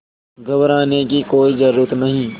घबराने की कोई ज़रूरत नहीं